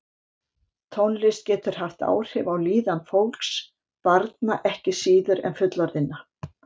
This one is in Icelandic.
Tónlist getur haft áhrif á líðan fólks, barna ekki síður en fullorðinna.